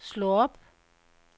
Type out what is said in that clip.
slå op